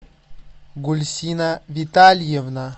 гульсина витальевна